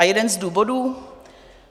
A jeden z důvodů?